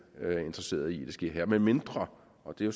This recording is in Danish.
interesseret i at det sker medmindre og det